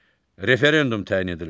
Referendum təyin edilməsi.